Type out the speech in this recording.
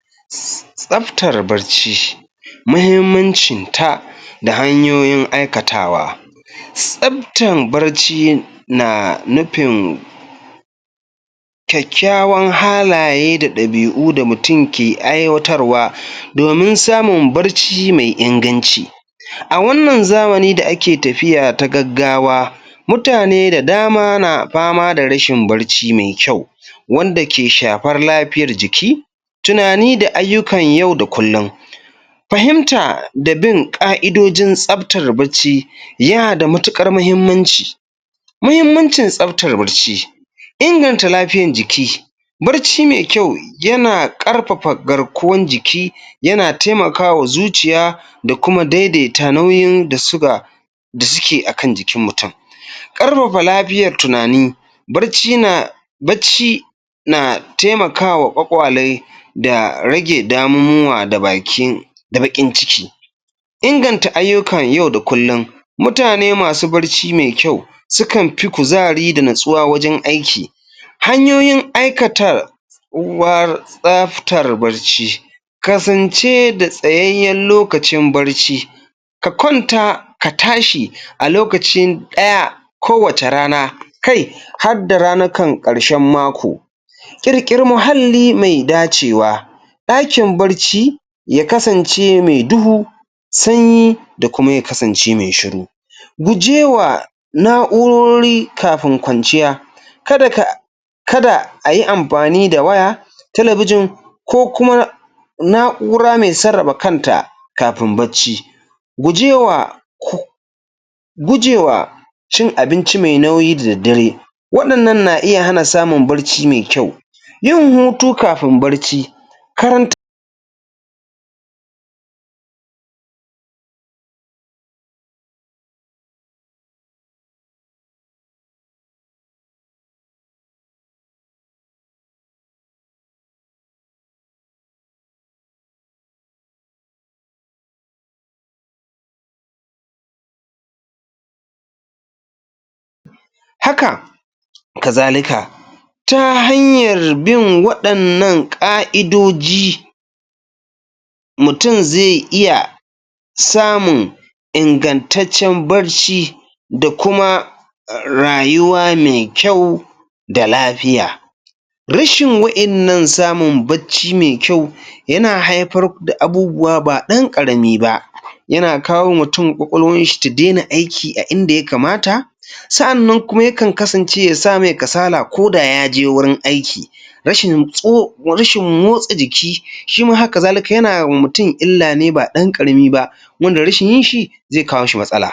Tsabtar barci muhimmancinta da hanyoyin aikatawa tsabytar barci na nufin kyakkyawan halaye da ɗabi'u da mutum ke aiwatarwa domin samun barci mai inganci a wannan zamani da ake tafiya ta gaggawa mutane da dama na fama da rashin barci mai kyau wanda ke shafar lafiyar jiki, tunani da ayyukan yau da kullum. fahimta da bin ƙa'idojin tsabtar barci yana da matuƙar muhimmanci muhimmancin tsabatar barci inganta lafiyan jiki barci mai kyau yan ƙarfafa garkuwan jiki yana taimaka wa zuciya da kuma daidaita nauyin da siga da suke a akn jikin mutum. ƙarfafa lafiyar tunani barci yana bacci na taimaka ma ƙwaƙwale da rage damuwa da bakin da baƙin ciki inganta ayyukan yau da kullum mutane masu barci mai kyau sukan kuzari da nutsuwa wajen aiki hanyoyin tsowuwar tasabtar barci Kasance da tsayayen lokacoin barci ka kwanta ka tashi a lokaci ɗaya kowace rana, kai harda ranakun ƙarshen mako ƙirƙiri muhalli mai dacewa ɗakin barci ya kasance mai duhu sanyi da kuma ya kasance mai shuru gujewa na'urori kafin kwanciya kada ka kada a yi amfani da waya talabijin ko kuma na'ura mai sarrafa kanta kafin barci. Gujewa gujewa cin abinci mai nauyi da daddare waɗannan na iya hana samun barci mai kyau. yin hutu kafin barci. Karanta haka kazalika ta hanyar bin waɗannan ƙa'idoji mutum zai iya samun ingantaccen barci da kuma a a rayuwa mai kyau da lafiya rashin wa'innan samun barci mai kyau yana haifar da abubuwa ba ɗan ƙarami ba. yana akwao mutum ƙwaƙwalwarshi ta daina aiki a inda ya kamata sa'annan kuma yakan kasance ya sa mai kasala koda ya je wurin aiki rashin tso rashin motsa jiki shi ma haka zalika yana ma mutum illa ne ba ɗan ƙarami ba. wanda rashin yinshi zai kawo mashi matsala.